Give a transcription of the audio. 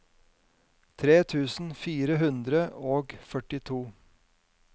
tre tusen fire hundre og førtito